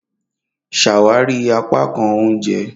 Ṣawari apakan ounjẹ!